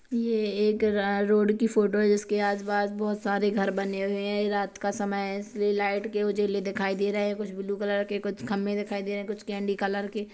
ये एक रोड की फोटो है जिसके आस पास बोहोत सारे घर बने हुए हैं ये रात की समय है इसलिए लाइट के उजाले दिखाई दे रहे हैं कुछ ब्लू कलर के कुछ खम्बे दिखाई दे रहे हैं कुछ केन्डी कलर के--